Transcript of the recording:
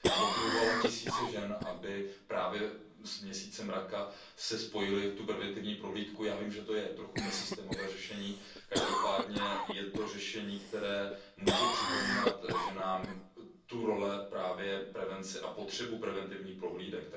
Motivovala tisíce žen, aby právě s měsícem Raka si spojily tu preventivní prohlídku. Já vím, že je to trochu nesystémové řešení, každopádně je to řešení, které může připomínat ženám tu roli prevence a potřebu preventivních prohlídek.